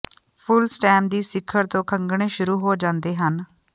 ਫੁੱਲ stem ਦੀ ਸਿਖਰ ਤੋਂ ਖਗਣੇ ਸ਼ੁਰੂ ਹੋ ਜਾਂਦੇ ਹਨ